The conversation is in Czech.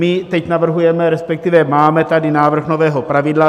My teď navrhujeme, respektive máme tady návrh nového pravidla.